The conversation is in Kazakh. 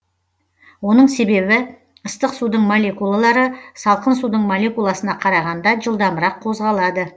оның себебі ыстық судың молекулалары салкын судың молекуласына қарағанда жылдамырақ қозғалады